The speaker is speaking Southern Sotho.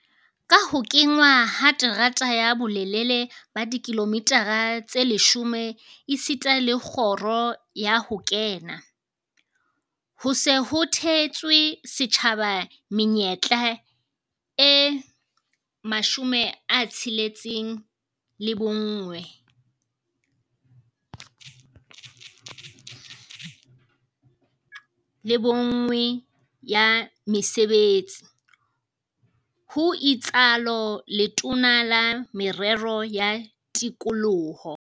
"Ka ho kenngwa ha terata ya bolelele ba dikilomitara tse 10 esita le kgoro ya ho kena, ho se ho theetswe setjhaba menyetla e 61 ya mesebetsi," ho itsalo Letona la Merero ya Tikoloho